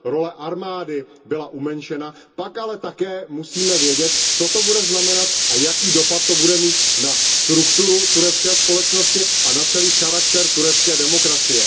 role armády byla omezena, pak ale také musíme vědět, co to bude znamenat a jaký dopad to bude mít na strukturu turecké společnosti a na celý charakter turecké demokracie.